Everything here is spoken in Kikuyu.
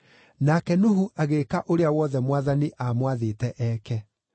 Nake Nuhu agĩĩka ũrĩa wothe Mwathani aamwathĩte eeke.